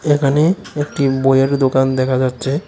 এখানে একটি বইয়ের দোকান দেখা যাচ্ছে।